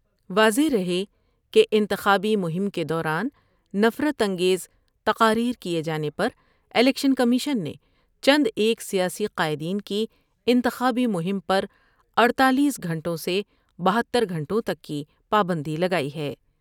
واضح رہے کہ انتخابی مہم کے دوران نفرت انگیز تقاری کئے جانے پر الیکشن کمیشن نے چند ایک سیاسی قائدین کی انتخابی مہم پر اڑتالیس گھنٹوں سے بہتر گھنٹوں تک کی پابندی لگائی ہے ۔